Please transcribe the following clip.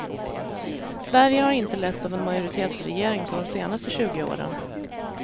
Sverige har inte letts av en majoritetsregering på de senaste tjugo åren.